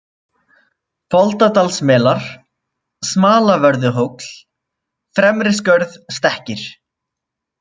Folaldadalsmelar, Smalavörðuhóll, Fremriskörð, Stekkir